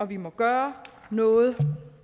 vi må gøre noget